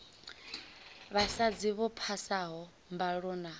vhasadzi vho phasaho mbalo na